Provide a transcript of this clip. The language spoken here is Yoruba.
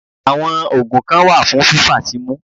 Àwọn ògùn kan wà fún fífàsímú